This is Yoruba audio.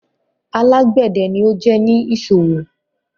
Alágbedẹ̀ ni o jẹ́ ni iṣọwọ